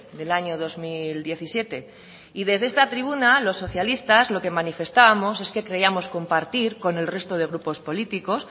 del año dos mil diecisiete y desde esta tribuna los socialistas lo que manifestábamos es que creíamos compartir con el resto de grupos políticos